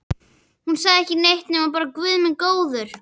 Hún sagði ekki neitt nema bara Guð minn góður.